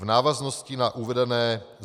V návaznosti na uvedené